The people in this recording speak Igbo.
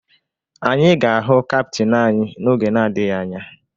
Anyị ga-ahụ kaptịn anyị n'oge na-adịghị anya